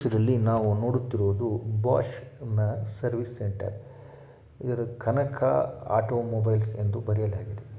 ಇಡೋದ್ನು Bose service centre. ಎಲ್ಲಿ Kanaka auto centre ಎಂದು ಬರೆಯಲಾಗಿದೆ.